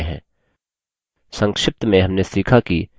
संक्षिप्त में हमने सीखा कि कैसे: